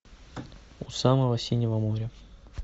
у самого синего моря